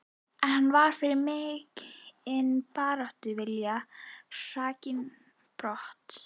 En hann var fyrir mikinn baráttuvilja hrakinn brott.